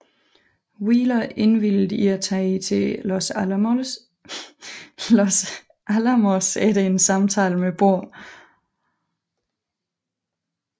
Wheeler indvilligede i at tage til Los Alamos efter en samtale med Bohr